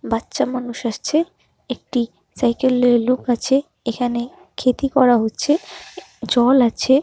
বাচ্ছা মানুষ আসছে একটি সাইকেলে লোক আছে এখানে ক্ষেতি করা হচ্ছে জল আছে।